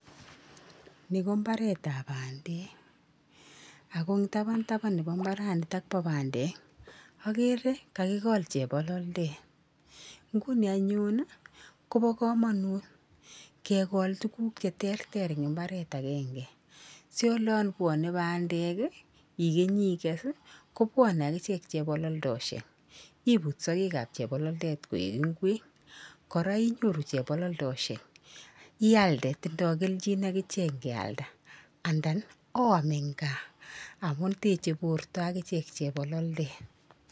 Ni ko mbaretap bandek, ako eng tapan tapan nepo mbaranitok po bandek, akere kakikol chepololdet. Nguni anyun kopo komonut kekol tuguk cheterter eng mbaret akenke si olonbwone bandek ikenyi ikes kobwane akichek chebololdoshek, ibut sokekap chepololdet koek ng'wek kora inyoru chepololdoshek, ialde. Tindoi kelchin akichek nkealda, andan oam eng kaa amun teche borto akichek chepololdet.